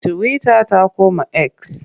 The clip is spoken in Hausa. Tiwita ta koma eks.